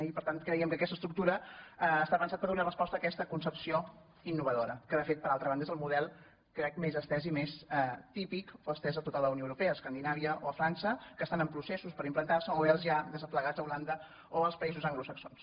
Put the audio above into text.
i per tant creiem que aquesta estructura està pensada per donar resposta a aquesta concepció innovadora que de fet per altra banda és el model crec més estès i més típic o estès a la unió europea a escandinàvia o a frança que estan en processos per implantar·se o bé els ja des·plegats a holanda o als països anglosaxons